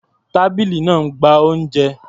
Tábìlì náà ń gba oúnjẹ.